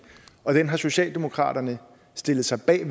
og den har socialdemokratiet stillet sig bag